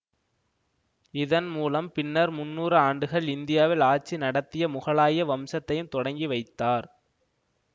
இதன் மூலம் பின்னர் முண்ணூறு ஆண்டுகள் இந்தியாவில் ஆட்சி நடத்திய முகலாய வம்சத்தையும் தொடக்கி வைத்தார்